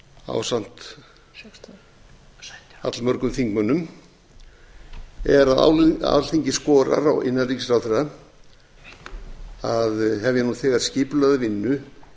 ásamt allmörgum þingmönnum er að alþingi skorar á innanríkisráðherra að hefja nú þegar skipulagða vinnu